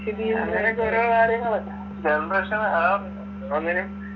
അങ്ങനൊക്കെ ഓരോ കാര്യങ്ങള് generation ആ ഒന്നിനും